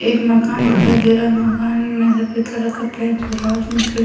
एक मकान दिखाई दे रहा है मकान में ऐसे का पेंट हो रा है उसमें खिड़ --